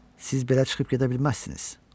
Siz belə çıxıb gedə bilməzsiniz.